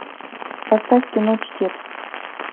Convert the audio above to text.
поставь кино чтец